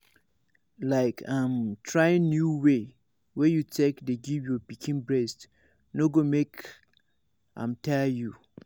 like um trying new way wey you take dey give your pikin breast no go make am tire you